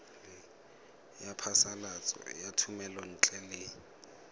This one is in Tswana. ya phasalatso ya thomelontle le